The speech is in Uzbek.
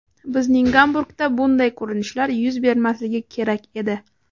Bizning Gamburgda bunday ko‘rinishlar yuz bermasligi kerak edi.